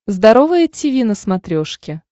здоровое тиви на смотрешке